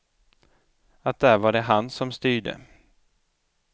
Att där var det han som styrde.